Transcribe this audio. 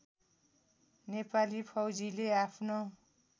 नेपाली फौजीले आफ्नो